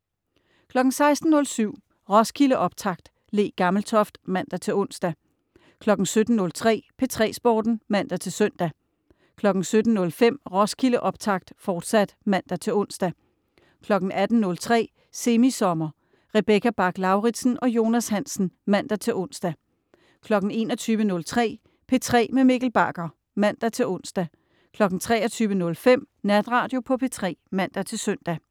16.07 Roskildeoptakt. Le Gammeltoft (man-ons) 17.03 P3 Sporten (man-søn) 17.05 Roskildeoptakt, fortsat (man-ons) 18.03 Semi Sommer. Rebecca Bach-Lauritsen og Jonas Hansen (man-ons) 21.03 P3 med Mikkel Bagger (man-ons) 23.05 Natradio på P3 (man-søn)